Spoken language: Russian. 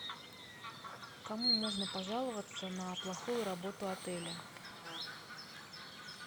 кому можно пожаловаться на плохую работу отеля